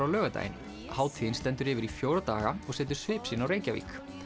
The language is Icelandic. á laugardaginn hátíðin stendur yfir í fjóra daga og setur svip sinn á Reykjavík